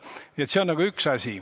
Nii et see on üks asi.